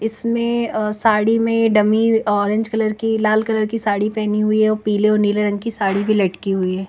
इसमें अ साड़ी में डमी ऑरेंज कलर की लाल कलर की साड़ी पहनी हुई है और पीले और नीले रंग की साड़ी भी लटकी हुई है ।